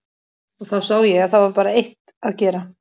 Og þá sá ég að það var bara eitt að gera.